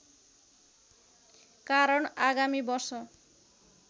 कारण आगामी वर्ष